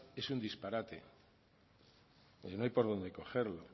es un disparate no hay por donde cogerlo